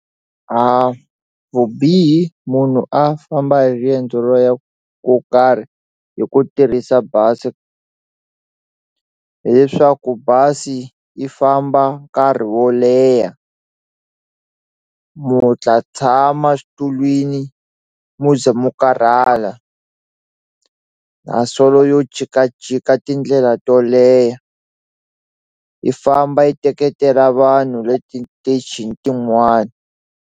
A vubihi munhu a famba hi riendzo ro ya ko karhi hi ku tirhisa bazi hileswaku bazi yi famba nkarhi wo leha u ta tshama xitulwini mo ze mi karhala na yo jikajika tindlela to leha yi famba yi teketela vanhu leti tichini tin'wana.